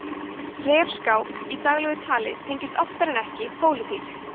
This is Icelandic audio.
refskák í daglegu tali tengist oftar en ekki pólitík